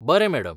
बरें, मॅडम.